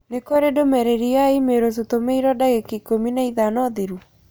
Nĩ kũrĩ ndũmĩrĩri ya i-mīrū tũtũmĩirũo ndagĩka ikũmi na ithano thirũ